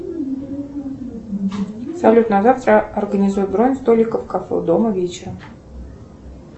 салют на завтра организуй бронь столиков в кафе у дома вечером